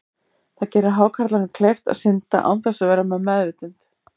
Það gerir hákarlinum kleift að synda án þess að vera við meðvitund.